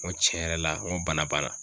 N ko cɛn yɛrɛ la n go bana bana